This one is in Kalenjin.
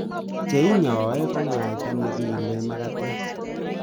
Che inyai ko mwaita ne kiile magatet